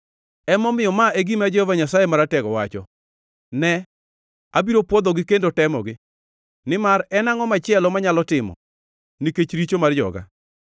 Emomiyo ma e gima Jehova Nyasaye Maratego wacho: “Ne, abiro pwodhogi kendo temogi, nimar en angʼo machielo manyalo timo, nikech richo mar joga?